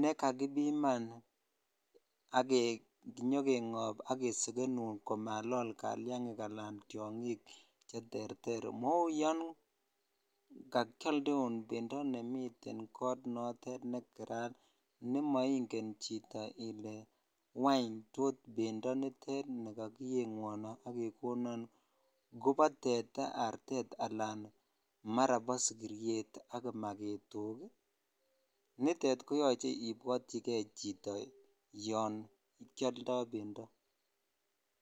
nekakibiman ak kinyo kengob ak kesekenun komalol kaliangik alaan tiongik cheterter mouu yoon kakialdeun bendo nemiten koot notet neterat nemoingen chito ilee ngwany tos bendo nitet nikokiengwon ak kekonon kobo teta, artet alaan mara bo sikiriet ak kimaketok, nitet koyoche ibwotyike chito yoon kioldo bendo.